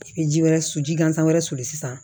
I bɛ ji wɛrɛ su ji gansan wɛrɛ suli sisan